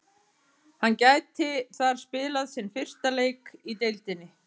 Hann gæti þar spilað sinn fyrsta leik í deildinni.